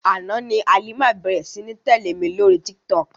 Àná ni Halima bẹ̀ẹ̀rẹ̀ sí ní tẹ̀lé mi lóri Tiktok.